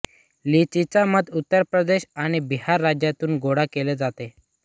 लिचीचा मध उत्तर प्रदेश आणि बिहार राज्यांतून गोळा केला जातो